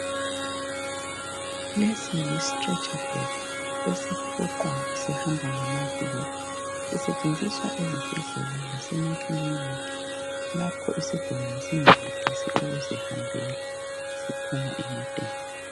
Lesi Yi strecher bed esifuqwa sihamba ngamavili , sisetshenziswa ezibhedlela lasemaklinika lapho isigulane singayenelisi ukuzihambela siphuma emoteni